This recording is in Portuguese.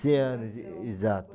cem anos, exato.